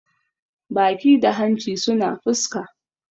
baki da hanci suna fuska